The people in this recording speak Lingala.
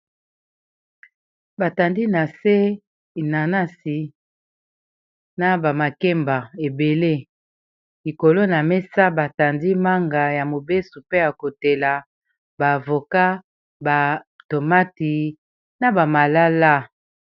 batandi na se nanasi na bamakemba ebele likolo na mesa batandi manga ya mobeso mpe ya kotela baavoka batomati na bamalala